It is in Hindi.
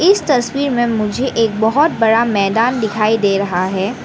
इस तस्वीर में मुझे एक बहोत बड़ा मैदान दिखाई दे रहा है।